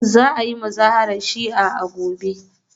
Za a yi Muzaharar Shi'a a gobe